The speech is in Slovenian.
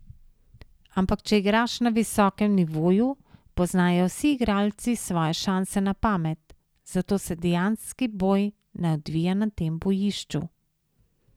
Ampak če igraš na visokem nivoju, poznajo vsi igralci svoje šanse na pamet, zato se dejanski boj ne odvija na tem bojišču.